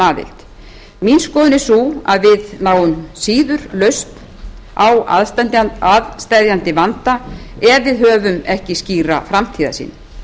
mín skoðun er sú að við náum síður lausn á aðsteðjandi vanda ef við höfum ekki skýra framtíðarsýn